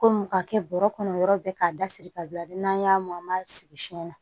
Kɔmi ka kɛ bɔrɔ kɔnɔ yɔrɔ bɛɛ k'a dasiri ka bila n'an y'a mɔn an b'a sigi fiɲɛ na